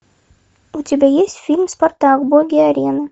у тебя есть фильм спартак боги арены